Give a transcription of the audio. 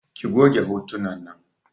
Ki goge hotunan nan!